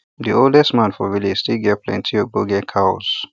the oldest man for village still get plenti ogboge cows